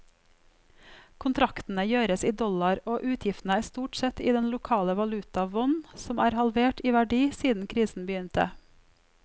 Kontraktene gjøres i dollar og utgiftene er stort sett i den lokale valuta won, som er halvert i verdi siden krisen begynte.